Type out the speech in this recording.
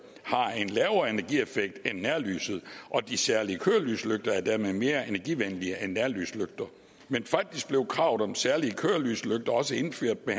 har en lavere energieffekt end nærlyset og de særlige kørelyslygter er dermed mere energivenlige end nærlyslygter men faktisk blev kravet om særlige kørelyslygter også indført med